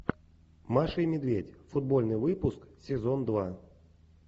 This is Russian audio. маша и медведь футбольный выпуск сезон два